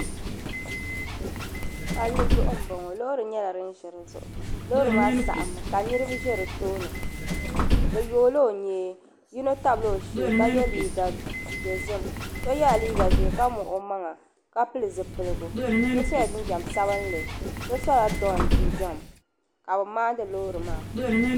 Palli zuɣu m bo ŋɔ loori nyela din ʒe di zuɣu loori maa saɣim mi ka niribi ʒe di tooni bɛ yoola o nyee yino tabila o shee ka ye liiga dozim so yela liiga ʒee ka muɣi o maŋa ka pili zipiligu so sola jinjam sabinli so so don jinjam ka bi maani loori maa.